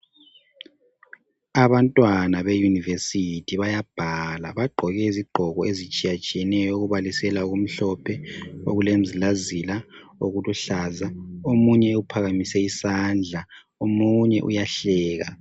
Abantwana beyunivesithi bayabhala bagqoke izigqoko ezitshiyatshiyeneyo okubalisela okumhlophe okulemizilazila okuluhlaza omunye uphakamise isandla omunye uyahleka.